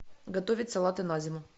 готовить салаты на зиму